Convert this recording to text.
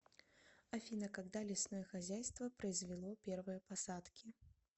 афина когда лесное хозяйство произвело первые посадки